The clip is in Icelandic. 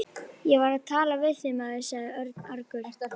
Ég var að tala við þig, maður sagði Örn argur.